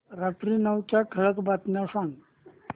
रात्री नऊच्या ठळक बातम्या सांग